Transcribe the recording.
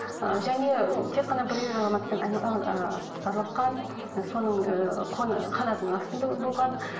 ы және тек қана бір ер азаматпен араласқан ы соның ыыы қанатының астында болған